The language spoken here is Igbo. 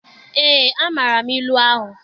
Eé, amaara m ilu ahụ.